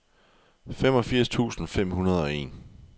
femogfirs tusind fem hundrede og en